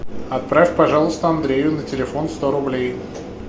отправь пожалуйста андрею на телефон сто рублей